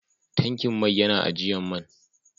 Tankin mai ya na ajian man.